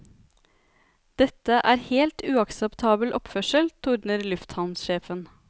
Dette er helt uakseptabel oppførsel, tordner lufthavnsjefen.